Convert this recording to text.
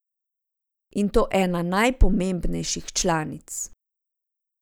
In to ena najpomembnejših članic.